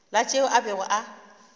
la tšeo a bego a